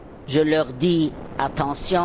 Je leur dit attention!